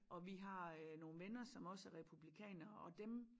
Og vi har øh nogen venner som også er republikanere og dem